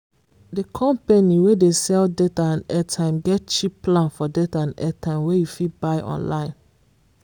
the company wey dey sell data and airtime get cheap plan for data and airtime wey you fit buy online